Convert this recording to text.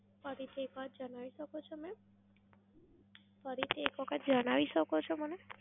ફરીથી એક વાર જણાવી શકો છો mam? ફરીથી એક વખત જણાવી શકો છો મને?